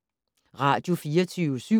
Radio24syv